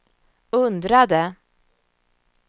undrade